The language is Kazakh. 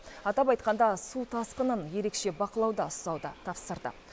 атап айтқанда су тасқынын ерекше бақылауда ұстауды тапсырды